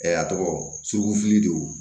a tɔgɔ suru fili de